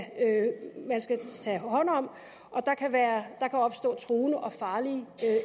tage hånd om og der kan opstå truende og farlige